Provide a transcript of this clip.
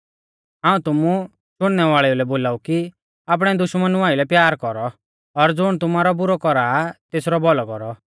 हाऊं तुमु शुणनै वालेऊ लै बोलाऊ कि आपणै दुश्मना आइलै प्यार कौरौ और ज़ुण तुमारौ बुरौ कौरा आ तेसरौ भौलौ कौरौ